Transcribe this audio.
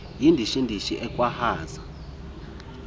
yindishi ndishi akwaaehaza